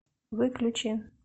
выключи